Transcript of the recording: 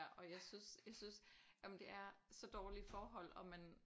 Og jeg synes jeg synes jamen det er så dårlige forhold og man